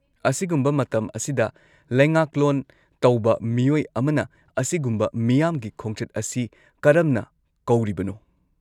-ꯑꯁꯤꯒꯨꯝꯕ ꯃꯇꯝ ꯑꯁꯤꯗ ꯂꯩꯉꯥꯛꯂꯣꯟ ꯇꯧꯕ ꯃꯤꯑꯣꯏ ꯑꯃꯅ ꯑꯁꯤꯒꯨꯝꯕ ꯃꯤꯌꯥꯝꯒꯤ ꯈꯣꯡꯆꯠ ꯑꯁꯤ ꯀꯔꯝꯅ ꯀꯧꯔꯤꯕꯅꯣ?